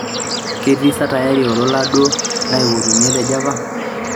ketii sa tayari olola duo laipotunye te Java